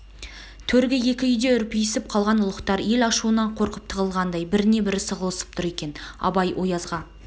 төргі екі үйде үрписіп қалған ұлықтар ел ашуынан қорқып тығылғандай бірне-бір сығылысып тұр екен абай оязға